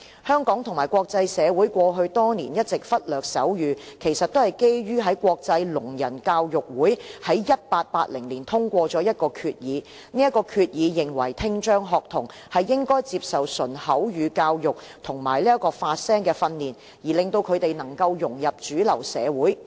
香港和國際社會過去多年一直忽略手語，其實都是基於國際聾人教育會議在1880年通過的一項決議，該決議認為聽障學童應該接受純口語教育和發聲訓練，令他們能夠融入主流社會。